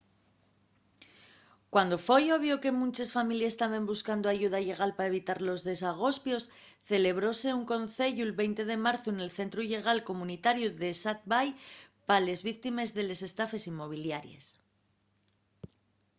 cuando foi obvio que munches families taben buscando ayuda llegal pa evitar los desagospios celebróse un conceyu'l 20 de marzu nel centru llegal comunitariu d'esat bay pa les víctimes de les estafes inmobiliaries